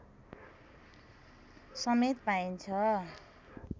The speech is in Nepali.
समेत पाइन्छ